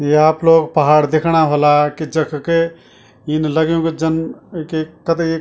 ये आप लोग पहाड दिखणा होला कि जख कि इन लग्यूं कि जन एक एक कतगे --